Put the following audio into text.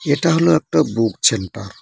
এটা হল একটা বুক ছেন্টার ।